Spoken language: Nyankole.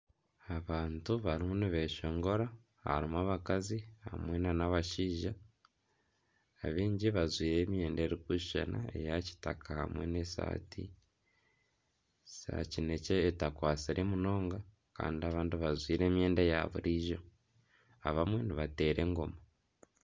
Abantu barimu nibeshongora ,harimu abakazi, hamwe nana abashaija ,abaingi bajwaire emyenda erikushushana eya kitaka hamwe nana esaati za kinekye etakwatsire munonga Kandi abandi bajwaire emyenda ya buriijo abamwe nibateera engoma .